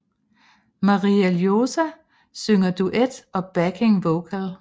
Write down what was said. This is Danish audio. Maria Ljósá synger duet og backing vocal